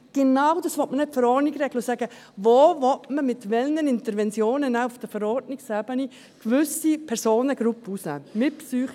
Genau das will man in der Verordnung regeln und sagen: Wo will man denn mit welchen Interventionen auf Verordnungsebene gewisse Personengruppen ausnehmen?